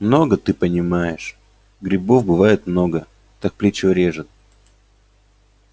много ты понимаешь грибов бывает много так плечо режет